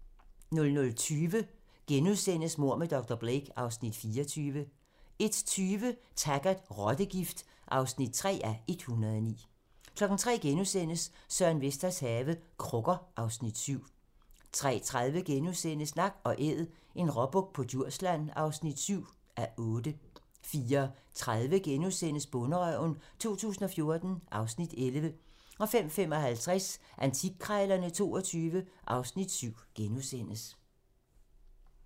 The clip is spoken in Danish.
00:20: Mord med dr. Blake (Afs. 24)* 01:20: Taggart: Rottegift (3:109) 03:00: Søren Vesters have - Krukker (Afs. 7)* 03:30: Nak & æd - en råbuk på Djursland (7:8)* 04:30: Bonderøven 2014 (Afs. 11)* 05:55: Antikkrejlerne XXII (Afs. 7)*